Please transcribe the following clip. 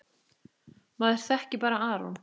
Maður þekkir bara Aron.